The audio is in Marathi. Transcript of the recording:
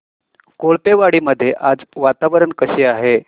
कोळपेवाडी मध्ये आज वातावरण कसे आहे